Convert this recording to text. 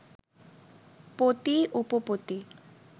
পতি উপপতি